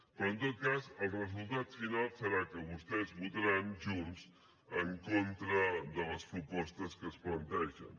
però en tot cas el resultat final serà que vostès votaran junts en contra de les propostes que es plantegen